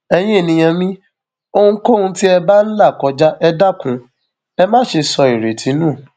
ẹyin ènìyàn mi ohunkóhun tí ẹ bá ń là kọjá ẹ dákun ẹ má ṣe sọ ìrètí nù